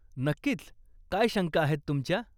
नक्कीच, काय शंका आहेत तुमच्या?